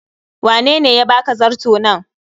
Wanene ya baka zarto nan?